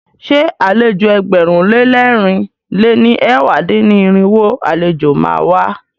Ṣé àlejò ẹgbẹ̀rún lé lẹ́rìn lé ní ẹ̀wá dín-ní-irinwó àlejò má a wá?